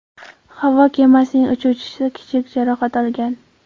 Havo kemasining uchuvchisi kichik jarohat olgan.